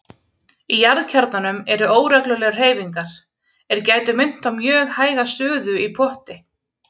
Í jarðkjarnanum eru óreglulegar hreyfingar er gætu minnt á mjög hæga suðu í potti.